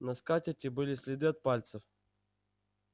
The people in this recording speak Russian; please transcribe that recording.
на скатерти были следы от пальцев